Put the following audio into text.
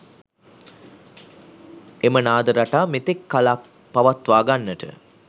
එම නාද රටා මෙතෙක් කලක් පවත්වා ගන්නට